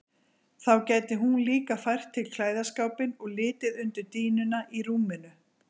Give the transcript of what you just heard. Þá gæti hún líka fært til klæðaskápinn og litið undir dýnuna í rúminu.